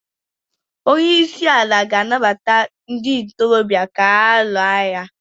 Onye isi ala ga-ana gbata ndị ntorobịa ka ha lụọ agha